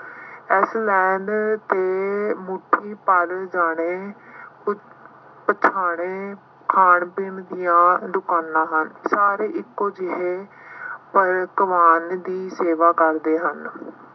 ਇਸ land ਤੇ ਮੁੱਠੀ ਭਰ ਦਾਣੇ ਪਿਸਾਣੇ ਗਏ, ਖਾਣ ਪੀਣ ਦੀਆਂ ਦੁਕਾਨਾਂ ਹਨ। ਸਾਰੇ ਇੱਕੋ ਜਿਹੇ ਦੀ ਸੇਵਾ ਕਰਦੇ ਹਨ।